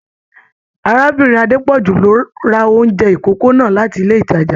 Arábìnrin Adepoju ló rà oúnjẹ ikòkò náà láti ilé ìtàjà.